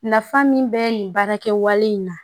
Nafa min bɛ nin baara kɛwale in na